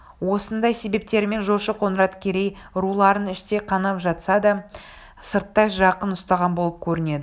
осындай себептерімен жошы қоңырат керей руларын іштей қанап жатса да сырттай жақын ұстаған болып көрінеді